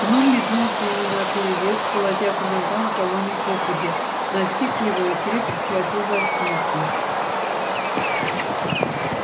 гном метнулся ему наперерез колотя по ногам кого ни попадя настиг его и крепко схватил за сумку